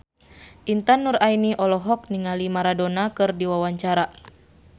Intan Nuraini olohok ningali Maradona keur diwawancara